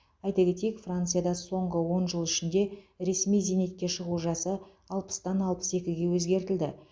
айта кетейік францияда соңғы он жыл ішінде ресми зейнетке шығу жасы алпыстан алпыс екіге өзгертілді